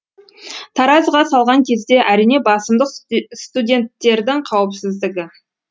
таразыға салған кезде әрине басымдық студенттердің қауіпсіздігі